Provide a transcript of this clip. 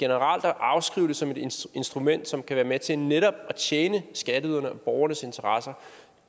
at afskrive det som et instrument som kan være med til netop at tjene skatteydernes og borgernes interesser